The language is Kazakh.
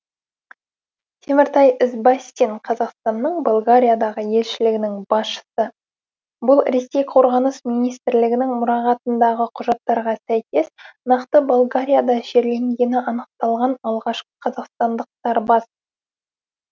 теміртай ізбастин қазақстанның болгариядағы елшілігінің басшысы бұл ресей қорғаныс министрлігінің мұрағатындағы құжаттарға сәйкес нақты болгарияда жерленгені анықталған алғашқы қазақстандық сарбаз